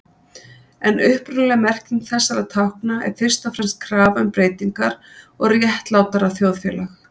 En upprunalega merking þessara tákna er fyrst og fremst krafa um breytingar og réttlátara þjóðfélag.